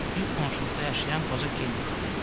Lük qonşuluqda yaşayan qoca Kempti xatırladı.